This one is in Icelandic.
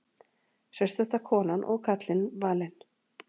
Hraustasta konan og karlinn valin